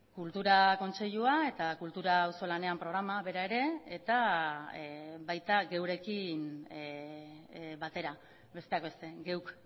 kultura kontseilua eta kultura auzolanean programa bera ere eta baita geurekin batera besteak beste geuk